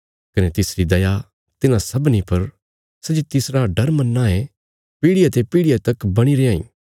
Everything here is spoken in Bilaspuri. कने तिसरी दया तिन्हां लोकां पर बणी रैयां इ सै जे पीढ़िया ते पीढ़िया तक तिसते डरां ए